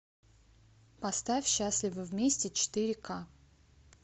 поставь счастливы вместе четыре к